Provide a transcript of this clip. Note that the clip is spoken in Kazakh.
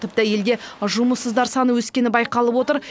тіпті елге жұмыссыздар саны өскені байқалып отыр